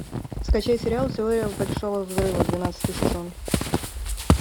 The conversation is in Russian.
скачай сериал теория большого взрыва двенадцатый сезон